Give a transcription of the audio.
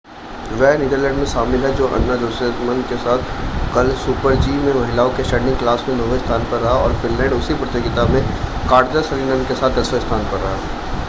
वे Netherlands में शामिल हैं जो अन्ना जोचेमसेन के साथ कल सुपर-जी में महिलाओं के स्टैंडिंग क्लास में नौवें स्थान पर रहा और फ़िनलैंड उसी प्रतियोगिता में काटजा सरीनन के साथ दसवें स्थान पर रहा